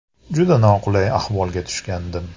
Juda noqulay ahvolga tushgandim.